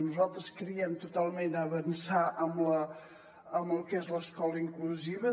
nosaltres creiem totalment a avançar amb el que és l’escola inclusiva